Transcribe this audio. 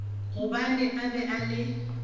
gobane a be a le